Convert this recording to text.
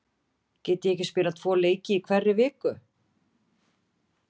Get ég ekki spilað tvo leiki í hverri viku?